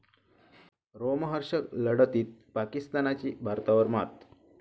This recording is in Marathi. रोमहर्षक लढतीत पाकिस्तानची भारतावर मात